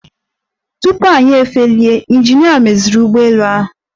Tupu anyị efelie, ịnjinịa meziri ụgbọelu ahụ.